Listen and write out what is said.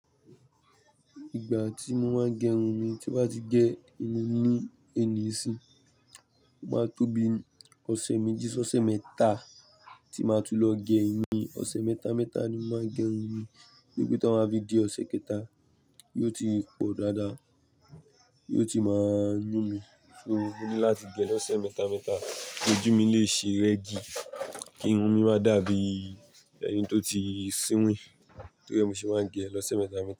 Igba ti mo n ma gerun mi ti n ba ti je ni eni sin oma to bi ose meji si ose meta ti matun lo gerun mi ose meji ose meta ni n ma grun to ma ti po dada yóò ti máa ń yun mí, só mo no láti gé lọ́ọ̀sẹ̀ mẹ́ta mẹ́ta, ki ojú mi lè ṣe regi kín máa dàbí ẹni tó ti sinwìn. Tó ri ẹ ni mo ṣe máa ń gérun lọ̀sẹ̀ mẹ́ta mẹ́ta.